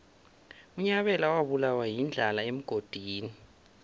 unyabela wabulawa yindlala emgodini